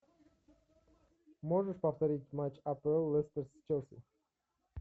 можешь повторить матч апл лестер с челси